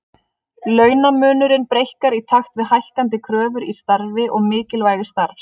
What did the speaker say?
Launamunurinn breikkar í takt við hækkandi kröfur í starfi og mikilvægi starfs.